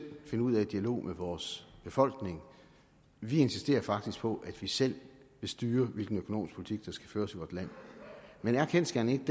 finde ud af i dialog med vores befolkning vi insisterer faktisk på at vi selv vil styre hvilken økonomisk politik der skal føres i vort land men er kendsgerningen